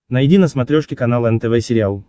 найди на смотрешке канал нтв сериал